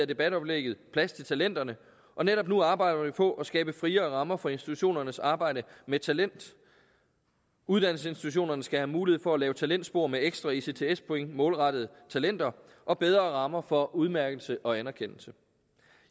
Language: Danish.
debatoplægget plads til talenterne og netop nu arbejder vi på at skabe friere rammer for institutionernes arbejde med talent uddannelsesinstitutionerne skal have mulighed for at lave talentspor med ekstra ects point målrettet talenter og bedre rammer for udmærkelse og anerkendelse